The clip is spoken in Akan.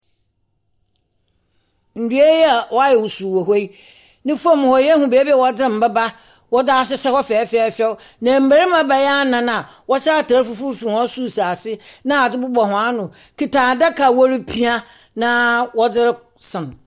Ndua yi a wɔayɛ wusuu wɔ hɔ yi, ne fam hɔ yehu beebi a wɔdze mboba wɔdze ahyehyɛ hɔ fɛɛfɛɛfɛw, na mberima bɛyɛ anan a wɔhyɛ atar fufuo firi soro si ase na adze bobɔ hɔn ano kuta adaka a wɔrepia na wɔde resam.